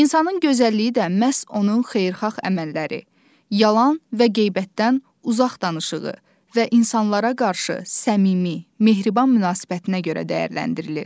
İnsanın gözəlliyi də məhz onun xeyirxah əməlləri, yalan və qeybətdən uzaq danışığı və insanlara qarşı səmimi, mehriban münasibətinə görə dəyərləndirilir.